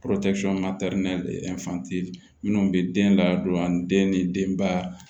minnu bɛ den ladon ani den ni denba